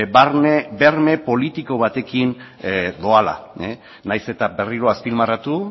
barne berme politiko batekin doala nahiz eta berriro azpimarratu